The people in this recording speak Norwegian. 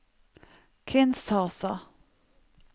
Kinshasa